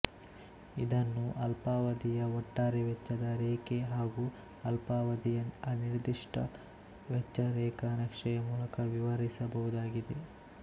ಇದನ್ನು ಅಲ್ಪಾವಧಿಯ ಒಟ್ಟಾರೆ ವೆಚ್ಚದ ರೇಖೆ ಹಾಗು ಅಲ್ಪಾವಧಿಯ ಅನಿರ್ದಿಷ್ಟ ವೆಚ್ಚ ರೇಖಾ ನಕ್ಷೆಯ ಮೂಲಕ ವಿವರಿಸಬಹುದಾಗಿದೆ